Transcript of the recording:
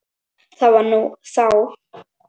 Það var nú þá.